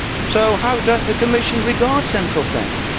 So how does the Commission regard central planning?